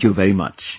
Thank you very much